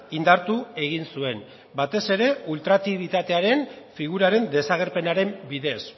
indartu egin zuen batez ere ultraaktibitatearen figuraren desagerpenaren bidez